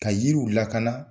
Ka yiriw lakana